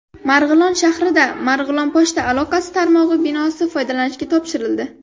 Marg‘ilon shahrida Marg‘ilon pochta aloqasi tarmog‘i binosi foydalanishga topshirildi.